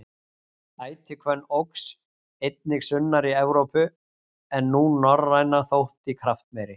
Ætihvönn óx einnig sunnar í Evrópu en sú norræna þótti kraftmeiri.